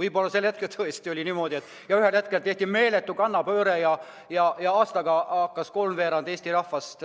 Võib-olla sel hetkel tõesti oli niimoodi ja ühel hetkel tehti meeletu kannapööre ja aastaga hakkas kolmveerand Eesti rahvast